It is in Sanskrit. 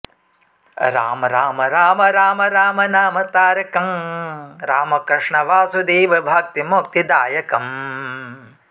राम राम राम राम रामनामतारकं राम कृष्ण वासुदेव भक्तिमुक्तिदायकम्